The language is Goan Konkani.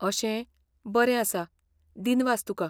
अशें, बरें आसा. दिनवास तुका.